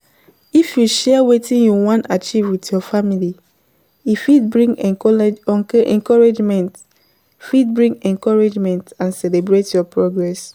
If you share wetin you wan achieve with your family, e fit bring encouragement fit bring encouragement and celebrate your progress